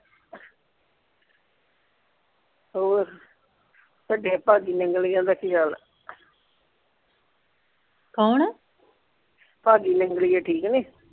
ਹੋਰ ਭਾਗੀ ਨੰਗਲੀਆ ਦਾ ਕੀ ਹਾਲ ਆ ਕੋਣ ਭਾਗੀ ਨੰਗਲੀਆ ਠੀਕ ਨੇ?